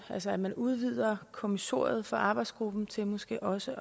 os at man udvidede kommissoriet for arbejdsgruppen til måske også